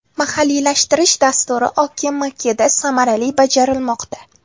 Mahalliylashtirish dasturi OKMKda samarali bajarilmoqda.